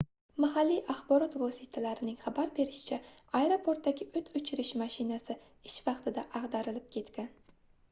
mahalliy axborot vositalarining xabar berishicha aeroportdagi oʻt oʻchirish mashinasi ish vaqtida agʻdarilib ketgan